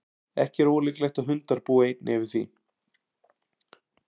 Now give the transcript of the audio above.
ekki er ólíklegt að hundar búi einnig yfir því